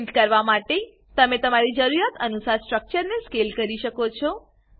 print કરવા ફેલ્ક તમે તમારી જુરીયાત અનુસાર સ્ટ્રક્ચર ને સ્કેલ કરી શકો છો